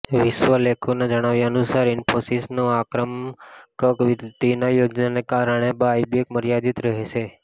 વિશ્લેષકોના જણાવ્યા અનુસાર ઇન્ફોસિસની આક્રમક વૃદ્ધિની યોજનાને કારણે બાયબેક મર્યાદિત રહેશે